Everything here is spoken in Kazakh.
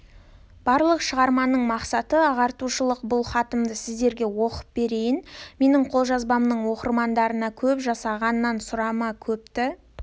барлық шығарманың мақсаты ағартушылық бұл хатымды сіздерге оқып берейін менің қолжазбамның оқырмандарына көп жасағаннан сұрама көпті